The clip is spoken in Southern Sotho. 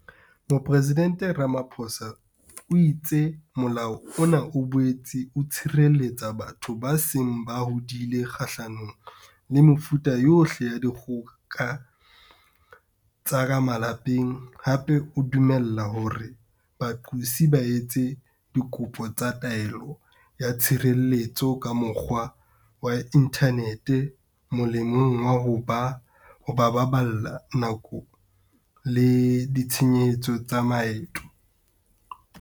Mopresidente Ramaphosa o itse Molao ona o boetse o tshireletsa batho ba seng ba hodile kgahlanong le mefuta yohle ya dikgoka tsa ka malapeng, hape o dumella hore baqosi ba etse dikopo tsa taelo ya tshireletso ka mokgwa wa inthanete, molemong wa ho ba baballela nako le ditshenyehelo tsa maeto.